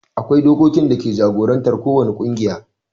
akwai dokokin dake jagorantar ko wani ƙungiya